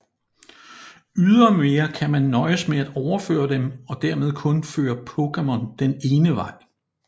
Ydermere kan man nøjes med at overføre dem og dermed kun føre Pokémon den ene vej